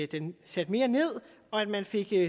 den sat mere ned og at man fik